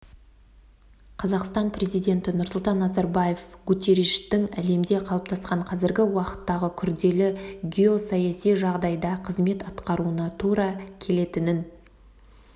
қазақстан президенті нұрсұлтан назарбаев гутерриштің әлемде қалыптасқан қазіргі уақыттағы күрделі геосаяси жағдайда қызмет атқаруына тура келетінін